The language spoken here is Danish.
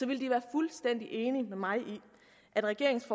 vil de være fuldstændig enige med mig i at regeringens